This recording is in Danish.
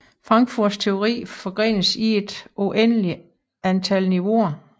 Frankfurts teori forgrenes til et uendeligt antal niveauer